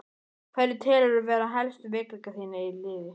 Hverja telurðu vera helstu veikleika í þínu liði?